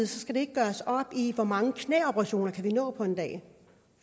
skal ikke gøres op i hvor mange knæoperationer vi kan nå på en dag